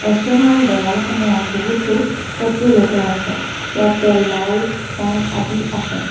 ৰেষ্টুৰেণ্টখনৰ দেৱাল সমূহত বহুতো ফটো লগোৱা আছে ইয়াতে লাইট ফেন আদি আছে।